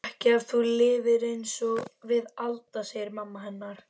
Ekki ef þú lifir einsog við Alda, segir mamma hennar.